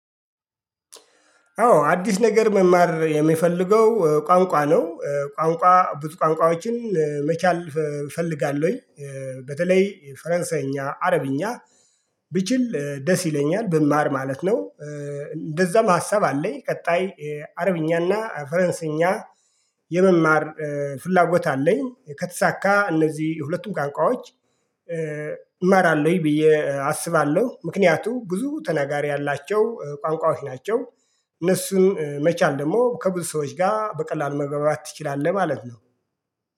አዎ አዲስ ነገር መማር የምፈልገው ቋንቋ ነው ቋንቋ ብዙ ቋንቋዎችን መቻል እፈልጋለሁኝ። በተለይ ፈረንሳይኛ አረብኛ ብችል ደስ ይለኛል ብማር ማለት ነው። እንደዛም ሀሳብ አለኝ ቀጣይ አረብኛና ፈረንሳይኛ የመማር ፍላጎት አለኝ። ከተሳካ እነዚህ ሁለቱም ቋንቋዎች እማራለሁኝ ብዬ አስባለሁ ምክንያቱም ብዙ ተናጋሪ አላቸው ቋንቋዎች ናቸው። እነሱን መቻል ደግሞ ከብዙ ሰዎች ጋር በቀላሉ መግባባት ትችላለህ ማለት ነው